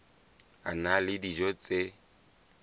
a na le dijo tse